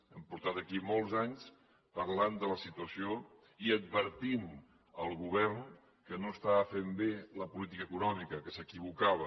hem portat aquí molts anys parlant de la situació i advertint el govern que no estava fent bé la política econòmica que s’equivocava